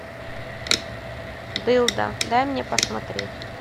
дылда дай мне посмотреть